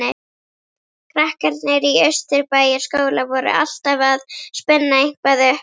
Krakkarnir í Austurbæjarskóla voru alltaf að spinna eitthvað upp.